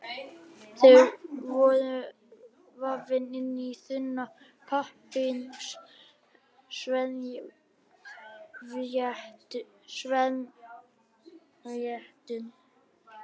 Þau voru vafin inn í þunna pappírsservíettu.